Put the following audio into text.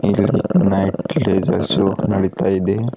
ಇಲ್ಲಿ night show ನಡೀತಾ ಇದೆ.